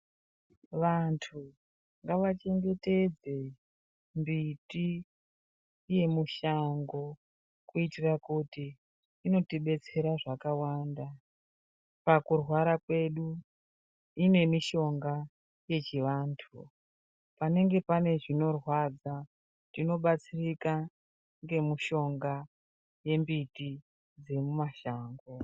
Vantu ngavachngetedze mbiti yemushango kuitira kuti inotidetsera zvakawanda pakurwara kwedu ine mishonga yechivantu, panenge pane zvinorwadza tinobatsirika ngemushonga yembiti dzemumashango.